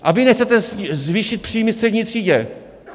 A vy nechcete zvýšit příjmy střední třídě.